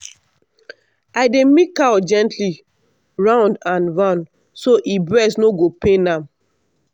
i dey milk cow gently round and round so e breast no go pain am.